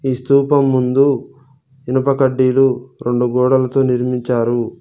ఈ స్థూపం ముందు ఇనుప కడ్డీలు రెండు గోడలతో నిర్మించారు.